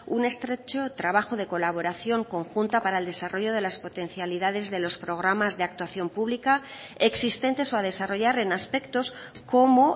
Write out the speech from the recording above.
un estrecho trabajo de colaboración conjunta para el desarrollo de las potencialidades de los programas de actuación pública existentes o a desarrollar en aspectos como